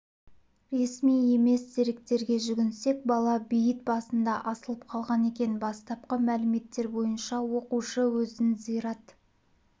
ресми емес деректерге жүгінсек бала бейіт басында асылып қалған екен бастапқы мәліметтер бойынша оқушы өзін зират